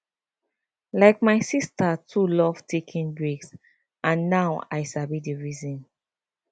like my sister too love taking breaks and now i sabi the reason